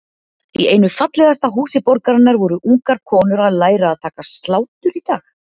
Í einu fallegasta húsi borgarinnar voru ungar konur að læra að taka slátur í dag?